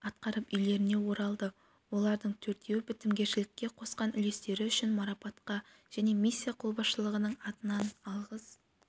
атқарып үйлеріне оралды олардың төртеуі бітімгершілікке қосқан үлестері үшін марапатқа және миссия қолбасшылығының атынан алғыс